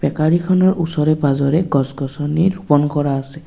বেকাৰীখনৰ ওচৰে পাজৰে গছ গছনি ৰূপণ কৰা আছে।